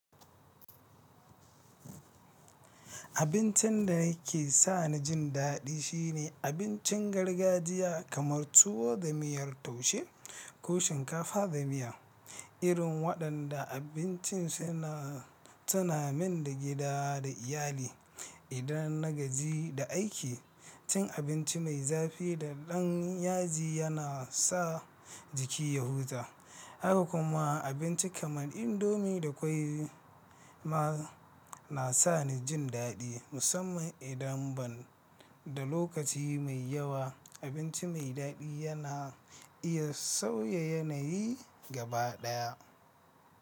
Abincin da yake sa ni jin daɗi shine abincin gargajiya kamar tuwo da miyar taushe ko shinkafa da miya. Irin waɗanda abincin suna tunamin da gida da iyali. Idan na gaji da aiki, cin abinci mai zafi da ɗan yaji yana sa jiki ya huta. Haka kuma abinci kamar indomie da ƙwai ma na sa ni jin daɗi. Musamman idan ban da lokaci mai yawa, abinci mai daɗi yana iya sauya yanayi gaba ɗaya.